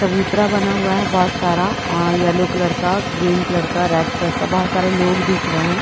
चबूतरा बना हुआ है बहुत सारा अ येलो कलर का ग्रीन कलर का रेड कलर का बहुत सारे लोग दिख रहे है।